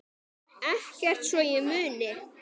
Ekkert svo ég muni.